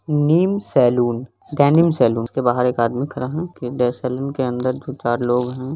नीम saloon denim saloon उसके बाहर एक आदमी खड़ा हुआ है फिर सैलून के अंदर चार लोग हैं।